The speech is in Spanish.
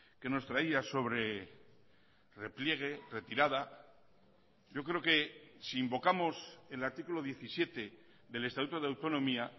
que nos traía sobre repliegue retirada yo creo que si invocamos el artículo diecisiete del estatuto de autonomía